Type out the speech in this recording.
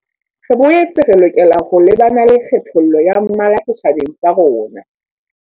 Re boetse re lokela ho lebana le kgethollo ya mmala setjhabeng sa rona.